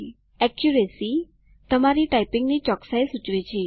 accuracy - તમારી ટાઈપીંગની ચોકસાઈ સૂચવે છે